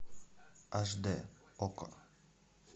аш д окко